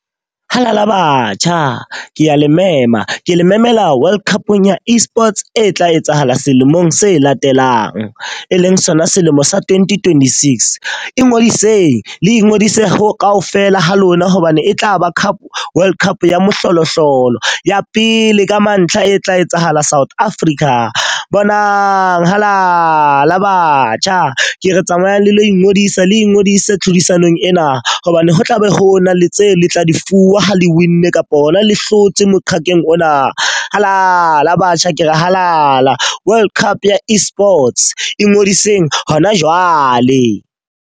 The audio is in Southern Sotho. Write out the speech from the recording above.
Halala batjha! Ke a le mema. Ke le memela World Cup ya e-Sports e tla etsahala selemong se latelang, e leng sona selemo sa twenty-twenty-six. Ingodisitseng le ingodise ho ka ofela ha lona hobane e tlaba Cup World Cup ya moholo hlolo, ya pele ka mantlha e tla etsahala South Africa. Bonang halala batjha! Ke re tsamayang le lo ingodisa le ingodise tlhodisanong ena hobane ho tlabe ho na le tse le tla di fuwa ho le win-ne kapa hona le hlotse moqakeng ona. Halala batjha! Ke re halala! World Cup ya e-Sports e ngodisitseng hona jwale.